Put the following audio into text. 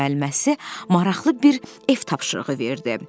Müəlliməsi maraqlı bir ev tapşırığı verdi.